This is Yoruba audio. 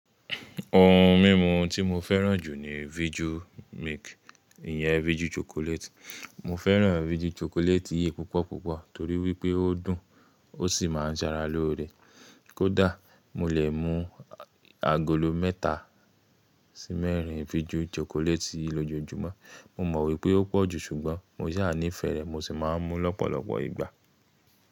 Ohun mímu tí mo fẹ́ràn jù ni Viju milk, ìyẹn Viju chocolate. Mo fẹ́ràn Viju chocolate yìí púpọ̀ púpọ̀ torí wípé ó dùn ó sì máa ń sara lóore. Kódà mo lè mú agolo mẹ́ta sí mẹ́rin Viju chocolate yìí lójoójúmọ́. Mo mọ̀ wípé ó pọ̀jù ṣùgbọ́n mo sà ní ìfẹ́ rẹ̀ mo sì máa ń mú lọ́pọ̀lọpọ̀ ìgbà.